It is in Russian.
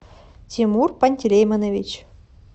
тимур пантелеймонович